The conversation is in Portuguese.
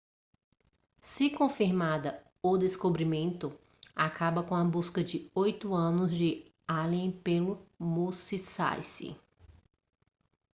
se confirmada o descobrimento acaba com a busca de oito anos de allen pelo musashi